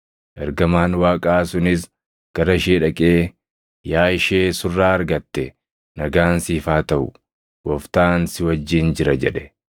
Ergamaan Waaqaa sunis gara ishee dhaqee, “Yaa ishee surraa argatte; nagaan siif haa taʼu! Gooftaan si wajjin jira” jedhe.